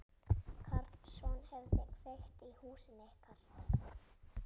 Karlsson hefði kveikt í húsinu ykkar.